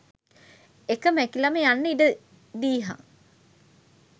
එක මැකිලම යන්න ඉඩ දීහන්.